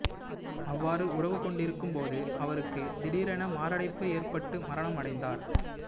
அவ்வாறு உறவு கொண்டு இருக்கும் போது அவருக்கு திடீரென மாரடைப்பு ஏற்பட்டு மரணம் அடைந்தார்